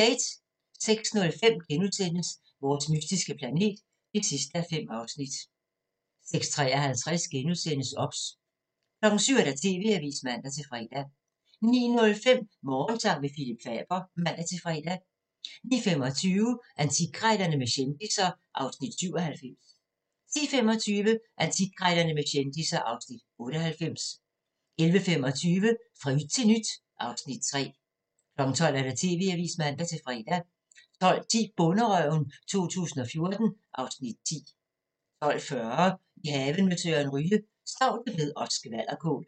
06:05: Vores mystiske planet (5:5)* 06:53: OBS * 07:00: TV-avisen (man-fre) 09:05: Morgensang med Phillip Faber (man-fre) 09:25: Antikkrejlerne med kendisser (Afs. 97) 10:25: Antikkrejlerne med kendisser (Afs. 98) 11:25: Fra yt til nyt (Afs. 3) 12:00: TV-avisen (man-fre) 12:10: Bonderøven 2014 (Afs. 10) 12:40: I haven med Søren Ryge: Staudebed og skvalderkål